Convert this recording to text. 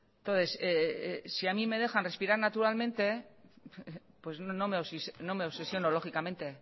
entonces si a mí me dejan respirar naturalmente pues no me obsesiono lógicamente